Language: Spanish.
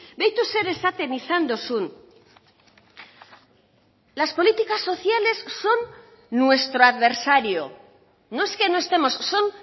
beitu zer esaten izan duzun las políticas sociales son nuestro adversario no es que no estemos son